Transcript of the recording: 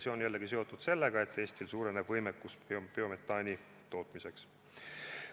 See on seotud sellega, et Eesti võimekus toota biometaani suureneb.